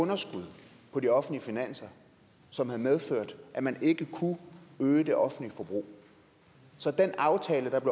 underskud på de offentlige finanser som havde medført at man ikke kunne øge det offentlige forbrug så den aftale der